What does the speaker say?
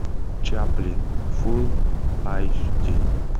чаплин фулл айч ди